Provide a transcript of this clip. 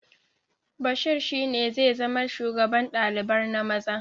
Bashir shi ne zai zama shugaban ɗalibar na maza